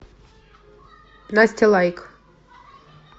настя лайк